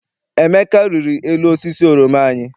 Emeka riri elu osisi oroma anyị.